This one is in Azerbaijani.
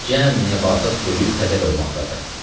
Cəmi nəbatat quruyub xəzəl olmaqdadır.